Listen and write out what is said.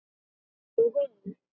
Og hún?